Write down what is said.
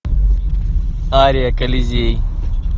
ария колизей